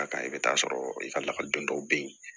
A kan i bɛ t'a sɔrɔ i ka lakɔliden dɔw bɛ yen